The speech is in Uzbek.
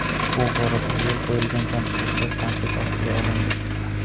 Bu borada yo‘l qo‘yilgan kamchiliklar tanqid ostiga olindi.